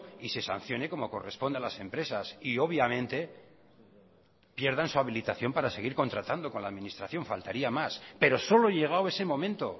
y se sancione como corresponde a las empresas y obviamente pierdan su habilitación para seguir contratando con la administración faltaría más pero solo llegado ese momento